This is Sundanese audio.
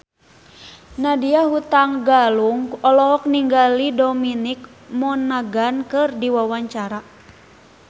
Nadya Hutagalung olohok ningali Dominic Monaghan keur diwawancara